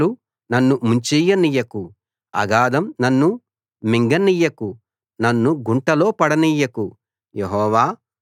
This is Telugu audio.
వరదలు నన్ను ముంచెయ్యనియ్యకు అగాథం నన్ను మింగనియ్యకు నన్ను గుంటలో పడనియ్యకు